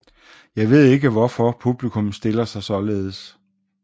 Jeg ved ikke hvorfor publikum stiller sig saaledes